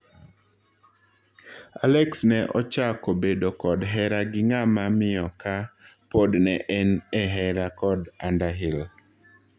Alex ne ochako bedo kod hera gi ng'ama miyo ka pod ne en e hera kod Underhill.